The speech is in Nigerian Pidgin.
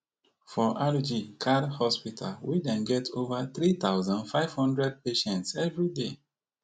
for rg kar hospital wey den get ova three thousand, five hundred patients everyday